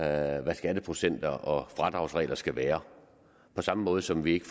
at skatteprocenter og fradragsregler skal være på samme måde som vi ikke